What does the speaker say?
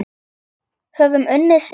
Höfum unnið sigur.